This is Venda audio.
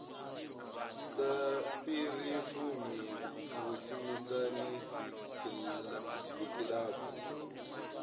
sa fhiri fumi vhushumisani dzikilabu